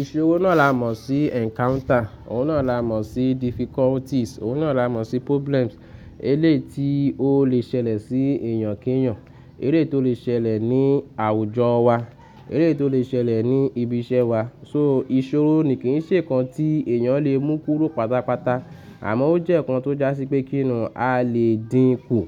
Ìṣòro náà la mọ̀ sí encounter, òun náà la mọ̀ sí difficulties, òun náà la mọ̀ sí problems. Eléyi ti ó lè ṣẹlẹ̀ sí èèyàn kí èèyàn, eléyi tó lè ṣẹlẹ̀ ní àwùjọ wa, eléyi tó lè ṣẹlẹ̀ ní ibi iṣẹ́ wa. So ìṣòro ni kì í ṣe nǹkan tí èèyàn lè mú kúrò pátápátá, àmọ́ ó jẹ́ ǹkan tó jásí pé kíni a lè dínkù,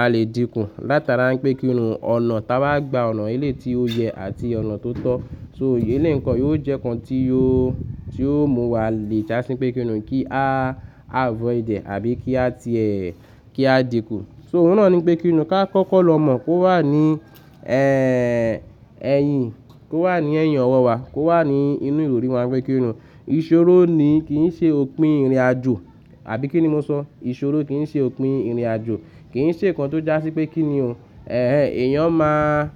a lè dínkù látara pé kíni ọ̀nà tí a bá gba ọ̀nà eléyi ti ó yẹ àti ọ̀nà tó tọ́. So eléyi nko, yió jẹ́ ǹkan tí ó, tí ó mú wa le jásí pé kíni kí a avoid ẹ̀ àbí kí a ti ẹ́, kí á dínkù. So òun náà ni pé kíni ká kọ́kọ́ lọ mọ̀ kó wà ní, ẹ́hẹ́, ẹ̀yìn, kó wà ní ẹ̀yìn ọwọ́ wa, kó wà ní inú ìròri wa pé kíni. Ìṣòro ni kì í ṣe òpin ìrìnàjò, àbí kíni mo sọ? Ìṣòro kì í ṣe òpin ìrìnàjò, kì í ṣe nǹkan tó jásí pé kíni òun. Ẹ̀hẹ̀n, èèyàn má,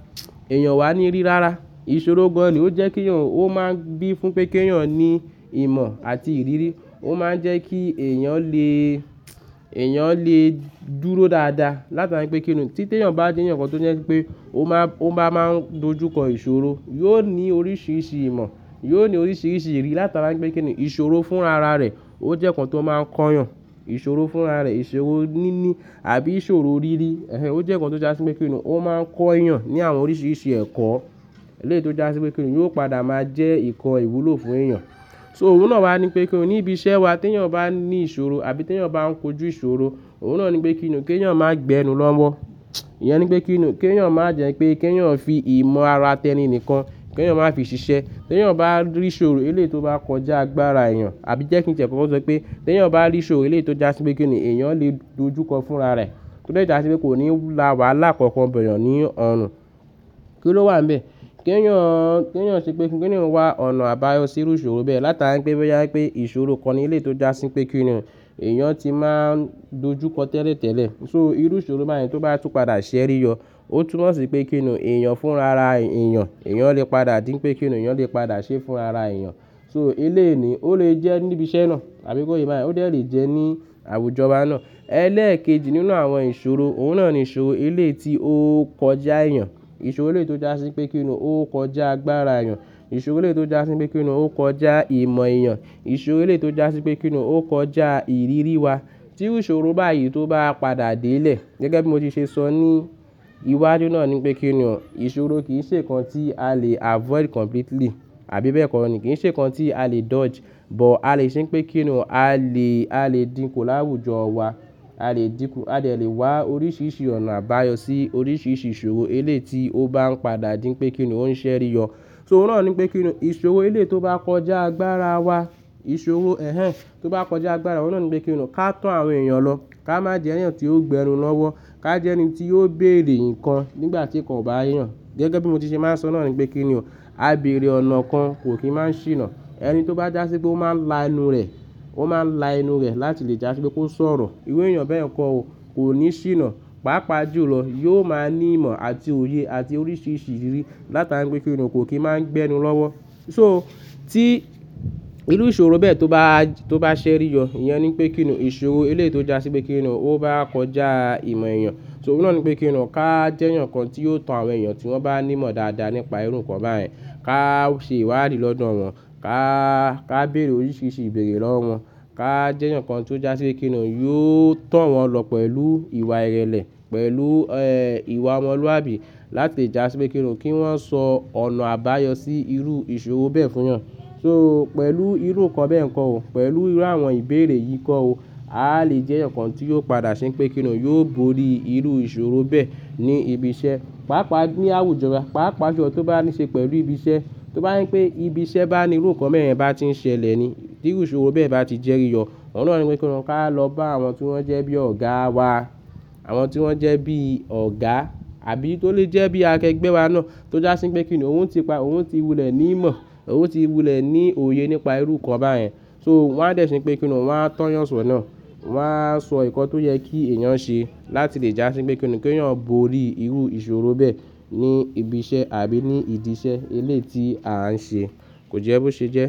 èèyàn wà ní rí rárá. Ìṣòro gan-an ni ó jẹ́ keeyan òun, ó máa ń gbé fún pé kí èèyàn ní ìmọ̀ àti ìrírí. Ó máa ń jẹ́ kí èèyàn lè, èèyàn lè dúró dáadáa látara pé kíni tí èèyàn bá jẹ́ ǹkan tó yẹ pé ó má, ó máa ń dojúkọ ìṣòro, yóò ní oríṣiríṣi ìmọ̀, yóò ní oríṣiríṣi ìrírí látara pé kíni ìṣòro fúnrara rẹ̀ ó jẹ́ ǹkan tó máa ń ko'yàn. Ìṣòro fúnra rẹ̀, ìṣòro níní àbí ìṣòro rírí, ẹ́hẹ̀n, ó jẹ́ ǹkan tó jásí pé kíni ó máa ń ko èèyàn ní àwọn oríṣiríṣi ẹ̀kọ́, eléti ó jásí pé kíni yóò padà máa jẹ́ ǹkan ìwúlò fún èèyàn. So òun náà wá ni pé kíni ní ibi iṣẹ́ wa tí èèyàn bá ní ìṣòro àbí tí èèyàn bá ń kojú ìṣòro, òun náà ni pé kíni kí èèyàn máa gbẹnu lọ́wọ́. Ìyẹn ni pé kíni kí èèyàn máa jẹ́ pé kí èèyàn fi ìmọ̀ ara tẹni nìkan, kí èèyàn máa fi ṣiṣẹ́. Tí èèyàn bá rí ìṣòro eléyi ti ó bá kọjá agbára èèyàn, àbí jẹ́ kí n tẹ̀lé ọ sọ pé tí èèyàn bá rí ìṣòro eléyi ti ó jásí pé kíni èèyàn lè dojúkọ fúnra rẹ̀, tó dẹ́ jásí pé kò ní la wàhálà kankan boyan ní ọ̀nà. Kí ló wà nbẹ̀? Kí èèyàn, kí èèyàn ṣe pé kíni wá ọ̀nà àbáyọ sí irú ìṣòro bẹ́ẹ̀ látara pé bíi yàá pé ìṣòro kan ni eléyi ti ó jásí pé kíni èèyàn ti máa n dojúkọ tẹ́lẹ̀tẹ́lẹ̀. So irú ìṣòro báyìí tó bá túpadà ṣẹ́rí yọ, ó túnmọ̀ sí pé kíni èèyàn fúnra ara èèyàn, èèyàn lè padà dí pé kíni èèyàn lè padà ṣé fúnra ara èèyàn. So eléyi ni ó lè jẹ́ níbi iṣẹ́ náà àbí ko yé bá yẹn ó dè le jẹ́ ní àwùjọ wá náà. Ẹlẹ́ẹ̀kejì nínú àwọn ìṣòro òun náà ni ìṣòro eléyi ti ó kọjá èèyàn, ìṣòro eléyi ti ó jásí pé kíni ó kọjá agbára èèyàn, ìṣòro eléyi ti ó jásí pé kíni ó kọjá ìmọ̀ èèyàn, ìṣòro eléyi ti ó jásí pé kíni ó kọjá ìrírí wa. Tí iru ìṣòro báyìí tó bá padà dé'lẹ̀, gẹ́gẹ́ bí mo ti ṣe sọ ní iwájú náà ni pé kíni ìṣòro kì í ṣe nǹkan tí a lè avoid completely, àbí bẹ́ẹ̀ kọ́ ni? Kì í ṣe nǹkan tí a lè dodge, but a lè ṣe pé kíni a lè, a lè dínkù láwùjọ wa, a lè dínkù, a dè lè wá oríṣiríṣi ọ̀nà àbáyọ sí oríṣiríṣi ìṣòro eléyi ti ó bá ń padà díń pé kíni ó ń ṣẹ́ rí ọ. So òun náà ni pé kíni ìṣòro eléyi ti ó bá kọjá agbára wa, ìṣòro, ẹ́hẹ̀n, tó bá kọjá agbára, òun náà ni pé kíni ká to àwọn èèyàn lọ, ká má jẹ́ èèyàn tí ó gbẹ́nu lọ́wọ́, ká jẹ́ ẹni tí yóò béèrè nǹkan nígbà tí nǹkan ò bá yé yàn. Gẹ́gẹ́ bí mo ti ṣe máa ń sọ náà ni pé kíni abèrè ọ̀nà kan kò kí máa ń ṣìnà. Ẹni tó bá jásí pé ó máa ń la enú rẹ̀, ó máa ń la enú rẹ̀ láti lè jásí pé kó sọ̀rọ̀, irú èèyàn bẹ́ẹ̀ kọ́ ò ko ní ṣìnà. Pàápàá jùlọ, yóò máa ní ìmọ̀ àti òye àti oríṣiríṣi ìrírí látara pé kíni kò kí máa ń gbẹ́nu lọ́wọ́. So tí irú ìṣòro bẹ́ẹ̀ tó bá, tó bá ṣẹ́ rí ọ, ìyẹn ni pé kíni ìṣòro eléti ó jásí pé kíni ó bá kọjá ìmọ̀ èèyàn. So òun náà ni pé kíni ká jẹ́ eyaǹkan tí yóò tán àwọn èèyàn tí wọ́n bá ní ìmọ̀ dáadáa nípa irú nǹkan báyìí. Ká ṣe ìwádìí lọ́dọ̀ wọn, ká, ká béèrè oríṣiríṣi ìbéèrè lọ́wọ́ wọn, ká jẹ́ eyaǹkan tí ó jásí pé kíni yóò to wọn lọ pẹ̀lú ìwà ìrẹ̀lẹ̀, pẹ̀lú, ẹ́hẹ̀n, ìwà ọmọlúwàbí láti jásí pé kíni kí wọ́n sọ ọ̀nà àbáyọ sí irú ìṣòro bẹ́ẹ̀ fún'yan. So pẹ̀lú irú nǹkan bẹ́ẹ̀ nkọ́ o, pẹ̀lú irú àwọn ìbéèrè yìí kọ́ o, a lè jẹ́'yan kan tí yóò padà ṣe pé kíni yóò borí irú ìṣòro bẹ́ẹ̀ ní ibi iṣẹ́. Pàápàá ní àwùjọ, pàápàá julọ tó bá ní ṣe pẹ̀lú ibi iṣẹ́, tó bá je pé ibi iṣẹ́ bá ní irú nǹkan bẹ́ẹ̀ yẹn bá ti ń ṣẹlẹ̀ ni, tí irú ìṣòro bẹ́ẹ̀ bá ti jẹ́ rí ọ, òun náà ni pé kíni ká lọ bá àwọn tí wọ́n jẹ́ bí ọ̀gáa wa, àwọn tí wọ́n jẹ́ bí ọ̀gá àbí tó lè jẹ́ bí akẹgbẹ́ wa náà tó jásí pé kíni òun ti pa, òun ti wulẹ̀ ní ìmọ̀, òun ti wulẹ̀ ní òye nípa irú nǹkan báyìí. So wọ́n á dẹ̀ ṣe pé kíni wọ́n á tọ́ yàn sọ̀nà, wọ́n á sọ ǹkan tó yẹ kí èèyàn ṣe láti lè jásí pé kíni kí èèyàn borí irú ìṣòro bẹ́ẹ̀ ní ibi iṣẹ́ àbí ní ìdí iṣẹ́ eléyi ti à ń ṣe kò jẹ́ bó ṣe jẹ́.